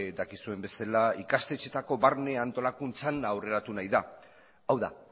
dakizuen bezala ikastetxeetako barne antolakuntzan aurreratu nahi da hau da